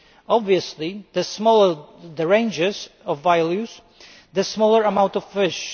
Obviously the smaller the range of values, the smaller the amount of fish